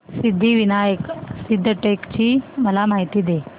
सिद्धिविनायक सिद्धटेक ची मला माहिती दे